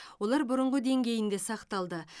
олар бұрынғы деңгейінде сақталды